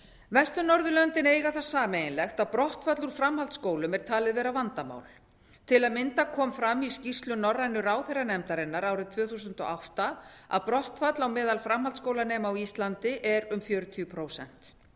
vestur norðurlöndin eiga það sameiginlegt að brottfall úr framhaldsskólum er talið vera vandamál til að mynda kom fram í skýrslu norrænu ráðherranefndarinnar árið tvö þúsund og átta að brottfall á meðal framhaldsskólanema á íslandi er um fjörutíu prósent